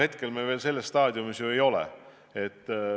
Hetkel me veel selles staadiumis ei ole.